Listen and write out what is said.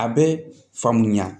A bɛ faamuya